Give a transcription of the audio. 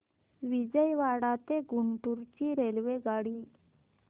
विजयवाडा ते गुंटूर ची रेल्वेगाडी